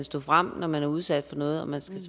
stå frem når man er udsat for noget og man skal